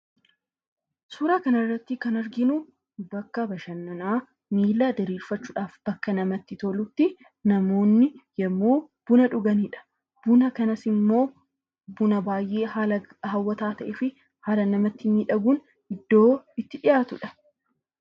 Suuraa kanarratti kan arginu bakka bashanannaa miilla diriirfachuudhaan bakka namatti tolutti namoota yeroo buna dhuganidha. Buna kanas immoo buna baay'ee haala hawwataa ta'ee fi haala namatti miidhaguun iddoo itti dhiyaatudha.